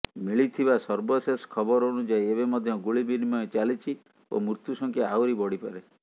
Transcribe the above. ମିଳିଥିବା ସର୍ବଶେଷ ଖବର ଅନୁଯାୟୀ ଏବେ ମଧ୍ୟ ଗୁଳି ବିନିମୟ ଚାଲିଛି ଓ ମୃତ୍ୟୁ ସଂଖ୍ୟା ଆହୁରି ବଢିପାରେ